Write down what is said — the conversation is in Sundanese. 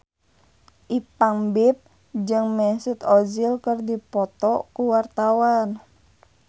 Ipank BIP jeung Mesut Ozil keur dipoto ku wartawan